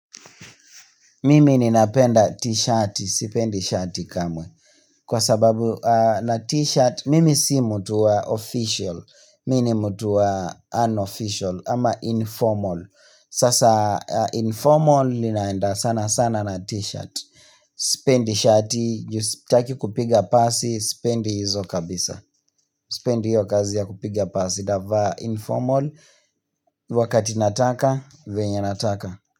Mimi ninapenda t-shirt, sipendi shati kamwe. Kwa sababu na t-shirt, mimi si mtu wa official, mimi ni mtu wa unofficial ama informal. Sasa informal ninaenda sana sana na t-shirt. Sipendi shati, juu sitaki kupiga pasi, sipendi hizo kabisa. Sipendi hiyo kazi ya kupiga pasi, navaa informal, wakati nataka, venya nataka.